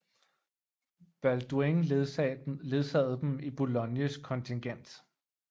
Balduin ledsagede dem i Boulognes kontingent